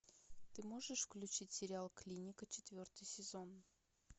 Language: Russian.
ты можешь включить сериал клиника четвертый сезон